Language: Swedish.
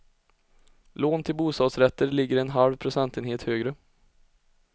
Lån till bostadsrätter ligger en halv procentenhet högre.